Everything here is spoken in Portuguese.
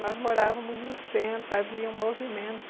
Nós morávamos no centro, havia um movimento,